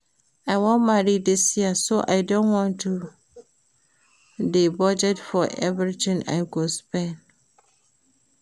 I wan marry dis year so I don start to dey budget for everything I go spend